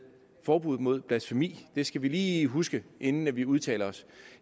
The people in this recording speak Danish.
forbuddet mod blasfemi det skal vi lige huske inden vi udtaler os